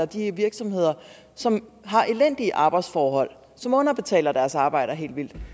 de virksomheder som har elendige arbejdsforhold som underbetaler deres arbejdere helt vildt dem